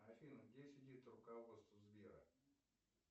афина где сидит руководство сбера